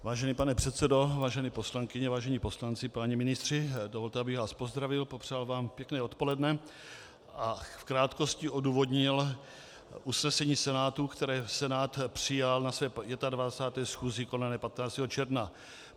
Vážený pane předsedo, vážené poslankyně, vážení poslanci, páni ministři, dovolte, abych vás pozdravil, popřál vám pěkné odpoledne a v krátkosti odůvodnil usnesení Senátu, které Senát přijal na své 25. schůzi konané 15. června.